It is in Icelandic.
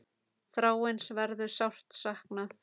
Þráins verður sárt saknað.